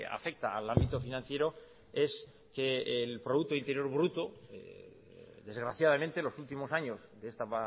afecta al ámbito financiero es que el producto interior bruto desgraciadamente los últimos años de esta